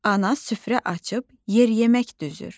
Ana süfrə açıb yer yemək düzür.